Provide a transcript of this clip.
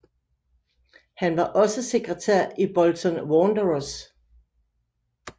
Han var også sekretær i Bolton Wanderers